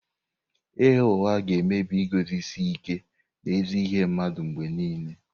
Ịgha ụgha ga-emebi iguzosi ike n'ezi ihe mmadụ mgbe nile.